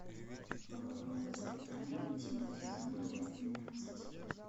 половое воспитание восьмой сезон часть двенадцать